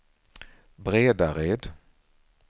Bredared